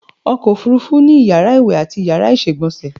Ọkọ̀ òfúrufú ni Iyàrá ìwè ati Iyàrá ìsègbònsè